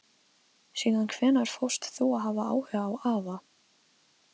Síðan hvenær fórst þú að hafa áhuga á afa?